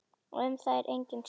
Um það er engin sátt.